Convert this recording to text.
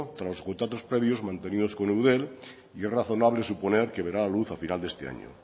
tras contactos previos mantenidos con eudel y es razonable suponer que verá la luz a final de este año